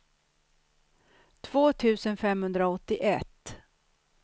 två tusen femhundraåttioett